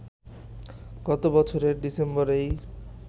গত বছরের ডিসেম্বরেই